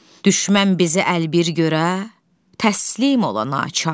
Düşmən bizi əlbir görə, təslim ola naçar.